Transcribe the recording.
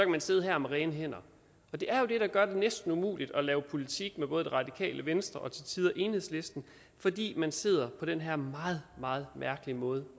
man sidde her med rene hænder det er jo det der gør det næsten umuligt at lave politik med både radikale venstre og til tider enhedslisten fordi man sidder og på den her meget meget mærkelige måde